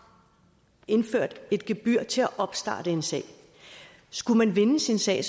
indført et gebyr til at opstarte en sag skulle man vinde sin sag